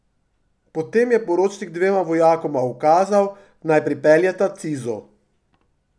Potem je poročnik dvema vojakoma ukazal, naj pripeljeta cizo.